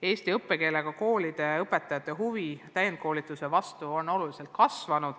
Eesti õppekeelega koolide ja õpetajate huvi täiendkoolituse vastu on oluliselt kasvanud.